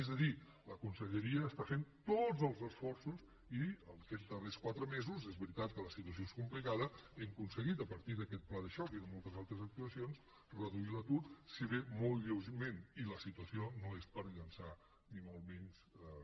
és a dir la conselleria està fent tots els esforços i aquests darrers quatre mesos és veritat que la situació és complicada hem aconseguit a partir d’aquest pla de xoc i de moltes altres actuacions reduir l’atur si bé molt lleugerament i la situació no és per llençar ni molt menys coets